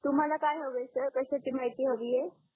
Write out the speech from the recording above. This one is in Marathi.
तुम्हाला काय हवे सर कश्याची माहिती हवी आहे